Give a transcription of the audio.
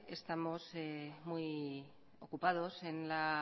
estamos muy ocupados en la